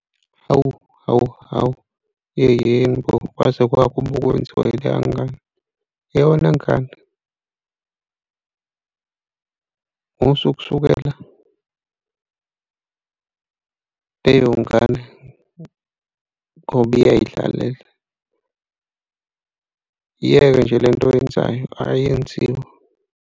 Hawu hawu, hawu, yeyeni bo kwaze kwakubi okwenziwa elaya ngane. Yewena ngane, musa ukusukela leyo ngane ngoba uyay'dlalela. Iyeke nje lento oyenzayo ayenziwe.